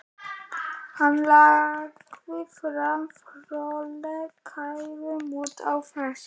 Hann lagði fram formlega kæru út af þessu.